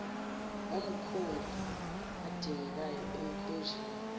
omkhumbi adingekayo emkhunjini